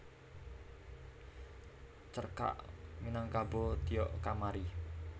Cerkak Minangkabau Tiok Kamari